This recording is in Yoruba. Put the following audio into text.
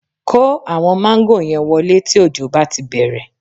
Kó àwọn máńgò yẹn wọlé tí òjò bá ti bẹ̀rẹ̀